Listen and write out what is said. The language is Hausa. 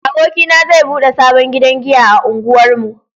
Abokina zai bude sabon gidan giya a unguwar mu